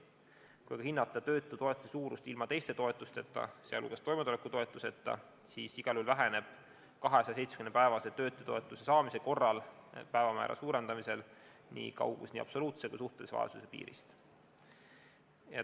Kui hinnata töötutoetuse suurust ilma teiste toetusteta, sealhulgas toimetulekutoetuseta, siis igal juhul väheneb 270-päevase töötutoetuse saamise korral päevamäära suurendamisel kaugus nii absoluutse kui ka suhtelise vaesuse piirist.